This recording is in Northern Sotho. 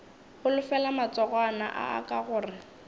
holofela matsogwana a aka gore